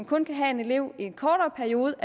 kun kan have en elev i en kortere periode